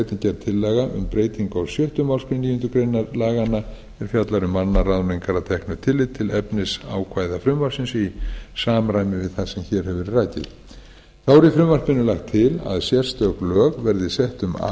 gerð tillaga um breytingu á sjöttu málsgrein níundu grein laganna sem fjallar um mannaráðningar að teknu tilliti til efnisákvæða frumvarpsins í samræmi við það sem hér hefur verið rakið þá er í frumvarpinu lagt til að sérstök lög verði sett um